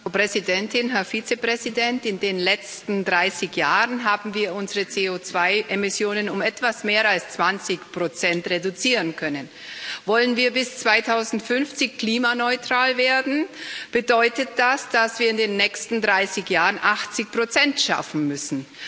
Frau Präsidentin, Herr Vizepräsident! In den letzten 30 Jahren haben wir unsere CO2 Emissionen um etwas mehr als 20 reduzieren können. Wollen wir bis 2050 klimaneutral werden, bedeutet das, dass wir in den nächsten 30 Jahren 80 schaffen müssen.